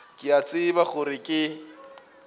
ke a tseba gore ke